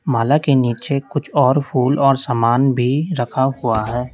माला के नीचे कुछ और फूल और सामान भी रखा हुआ है।